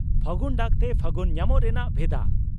ᱯᱷᱟᱹᱜᱩᱱ ᱰᱟᱠᱛᱮ ᱯᱷᱟᱹᱜᱩᱱ ᱧᱟᱢᱚᱜ ᱨᱮᱱᱟᱜ ᱵᱷᱮᱫᱟ